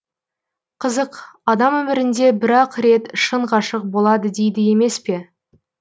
қызық адам өмірінде бір ақ рет шын ғашық болады дейді емес пе